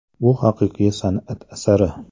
Bu haqiqiy san’at asari.